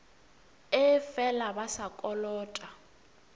ee fela ba sa kolota